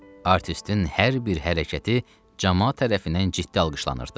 Artistin hər bir hərəkəti camaat tərəfindən ciddi alqışlanırdı.